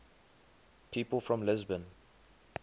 people from lisbon